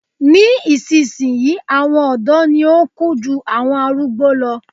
Ní ìsisìnyí àwọn ọ̀dọ́ ni ó n kú jù àwọn arúgbó lo